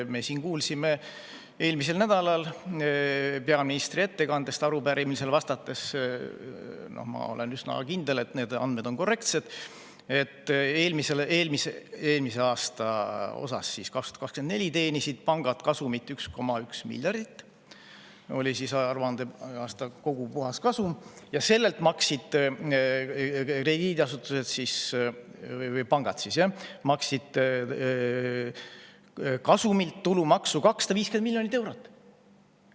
Me kuulsime eelmisel nädalal peaministri ettekandest, kui ta arupärimisele vastas – ma olen üsna kindel, et need andmed on korrektsed –, et 2024 teenisid pangad kasumit 1,1 miljardit, see oli aruandeaasta kogu puhaskasum, ja sellelt kasumilt maksid pangad tulumaksu 250 miljonit eurot.